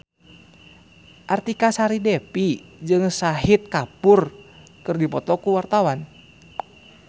Artika Sari Devi jeung Shahid Kapoor keur dipoto ku wartawan